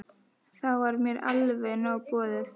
Þá var mér alveg nóg boðið.